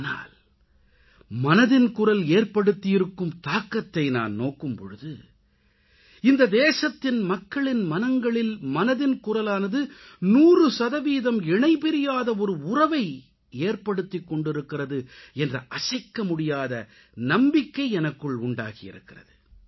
ஆனால் மனதின் குரல் ஏற்படுத்தியிருக்கும் தாக்கத்தை நான் நோக்கும் பொழுது இந்த தேசத்தின் மக்களின் மனங்களில் மனதின் குரலானது 100 சதவீதம் இணைபிரியாத ஒரு உறவை ஏற்படுத்திக் கொண்டிருக்கிறது என்ற அசைக்க முடியாத நம்பிக்கை எனக்குள் உண்டாகியிருக்கிறது